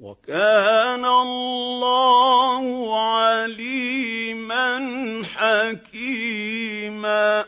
وَكَانَ اللَّهُ عَلِيمًا حَكِيمًا